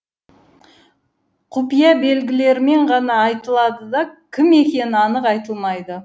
құпия белгілермен ғана айтылады да кім екені анық айтылмайды